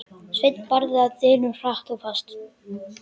Sveinn barði að dyrum, hratt og fast.